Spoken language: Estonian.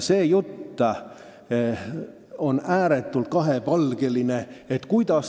Kogu jutt on olnud ääretult kahepalgeline.